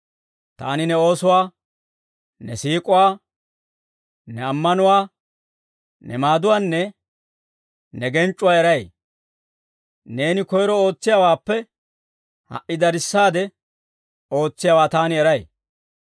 Taani ne oosuwaa, ne siik'uwaa, ne ammanuwaa, ne maaduwaanne ne genc'c'uwaa eray; neeni koyro ootsiyaawaappe ha"i darissaade ootsiyaawaa taani eray.